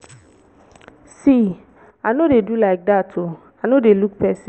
see i no dey do like dat oo i no dey look person.